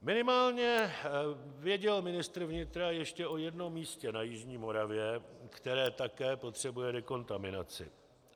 Minimálně věděl ministr vnitra ještě o jednom místě na jižní Moravě, které také potřebuje dekontaminaci.